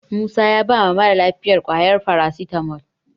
Musa ya bawa mara lafiyar ƙwayar farasitamol.